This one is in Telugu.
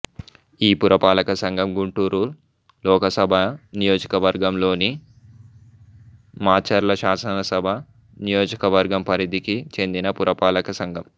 ఈ పురపాలక సంఘం గుంటూరు లోకసభ నియోజకవర్గంలోనిమాచర్ల శాసనసభ నియోజకవర్గం పరిధికి చెందిన పురపాలక సంఘం